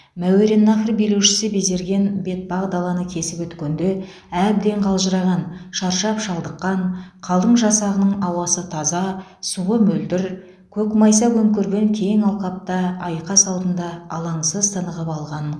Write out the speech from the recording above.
мәуереннаһр билеушісі безерген бетпақдаланы кесіп өткенде әбден қалжыраған шаршап шалдыққан қалың жасағының ауасы таза суы мөлдір көкмайса көмкерген кең алқапта айқас алдында алаңсыз тынығып алғанын